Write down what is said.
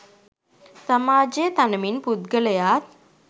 සමාජය තනමින් පුද්ගලයාත්